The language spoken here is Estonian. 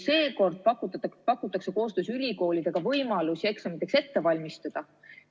Seekord pakutakse koostöös ülikoolidega võimalusi eksamiteks ette valmistada.